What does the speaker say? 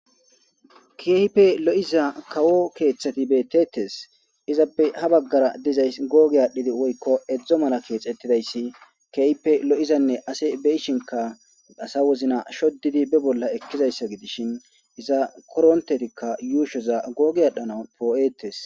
keyipe lo7iza kawo keeththati beetetes izappe ha baggara dizays googe aadhdhidi woykko edzdzo mala keexettidayssi keype lo7izanne ase beishinka asa wozna shodidi be bolla ekkizayssa gidishin iza korontetikka yuushoza googi adhana poo7eetes